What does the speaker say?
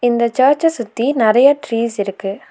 இந்த சர்ச்ச சுத்தி நெறைய ட்ரீஸ்ஸிருக்கு .